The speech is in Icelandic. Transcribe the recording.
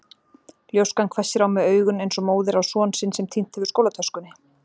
ljóskan hvessir á mig augun eins og móðir á son sinn sem týnt hefur skólatöskunni.